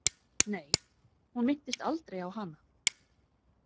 Nei, hún minntist aldrei á hana.